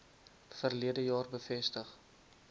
verlede jaar bevestig